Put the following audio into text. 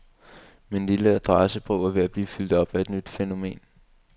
Min lille adressebog er ved at blive fyldt op af et nyt fænomen.